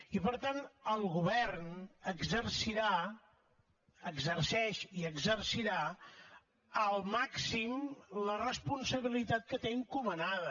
i per tant el govern exercirà exerceix i exercirà al màxim la responsabilitat que té encomanada